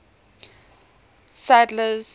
sadler's